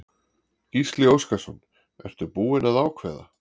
Gísli Óskarsson: Ertu búin að ákveða?